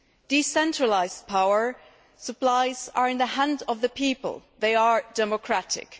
Decentralised power supplies are in the hands of the people. They are democratic.